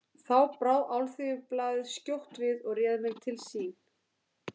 Þá brá Alþýðublaðið skjótt við og réð mig til sín.